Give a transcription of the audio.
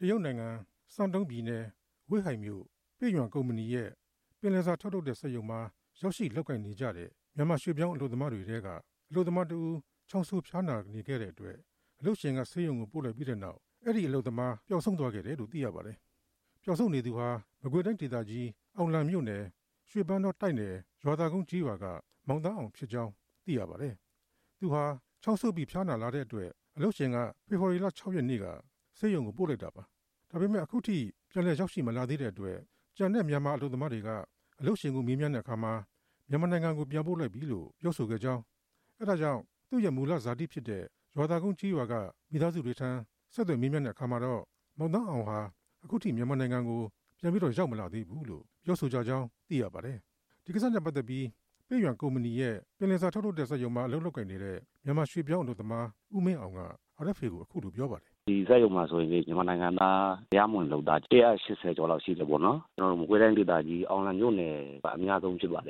ရုတ်နိုင်ငံ၊ စန်းတုံး၊ ဝေ့ဟိုင်မြို့၊ ပေ့ရွမ်ကုမ္ပဏီရဲ့ ပင်လယ်စာထုတ်လုပ်တဲ့စက်ရုံမှာ ရောက်ရှိလုပ်ကိုင်နေကြတဲ့ မြန်မာရွှေ့ပြောင်းအလုပ်သမားတွေထဲက အလုပ်သမားတစ်ဦး ချောင်းဆိုးဖျားနာနေတဲ့အတွက် အလုပ်ရှင်က ဆေးရုံပို့လိုက်ပြီးတဲ့နောက် ပျောက်ဆုံးသွားခဲ့ပါတယ်။ ပျောက်ဆုံးနေသူဟာ မကွေးတိုင်းဒေသကြီး၊ အောင်လံမြို့နယ်၊ ရွှေပန်းတောတိုက်နယ် ရွာသာကုန်းကျေးရွာက မောင်သန်းအောင် ဖြစ်ပါတယ်။ သူဟာ ချောင်ဆိုးပြီး ဖျားနာလာလို့ အလုပ်ရှင်က ဖေဖော်ဝါရီလ ၆ ရက်နေ့က ဆေးရုံပို့လိုက်တာပါ။ ဒါပေမဲ့ အခုထိ ပြန်ရောက်မလာသေးတဲ့အတွက် အလုပ်ရှင်ကို မေးမြန်းတဲ့အခါ မြန်မာ နိုင်ငံကို ပြန်ပို့လိုက်ပြီလို့ ပြောဆိုကြောင်း၊ ဒါကြောင့် သူရဲ့မူလဇာတိဖြစ်တဲ့ မကွေးတိုင်းဒေသကြီး အောင်လံမြို့ နယ်၊ ရွှေပန်းတောတိုက်နယ် ရွာသာကုန်းကျေးရွာက မိသားစုတွေထံ ဆက်သွယ်မေးမြန်းတဲ့အခါမှာလည်း အခုထိ မြန်မာနိုင်ငံကို ပြန်မရောက်သေးဘူးလို့ သိရပါတယ်။ ဒီကိစ္စနဲ့ပတ်သက်ပြီး ပေ့ရွမ်ကုမ္ပဏီရဲ့ ပင်လယ်စာထုတ်လုပ်တဲ့စက်ရုံမှာ အလုပ်လုပ်နေတဲ့ မြန်မာရွှေ့ပြောင်း အလုပ်သမား ဦးမင်းအောင်က အခုလို ပြောပါတယ်။ “ဒီစက်ရုံမှာ မြန်မာနိုင်ငံသား တရားမဝင်အလုပ်သမား ၁၈၀ ကျော်လောက်ရှိတယ်၊မကွေးတိုင်းဒေသကြီး အောင်လံမြို့နယ်က အများဆုံးဖြစ်ပါတ